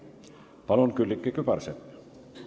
Palun, Külliki Kübarsepp!